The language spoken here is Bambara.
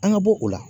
An ga bɔ o la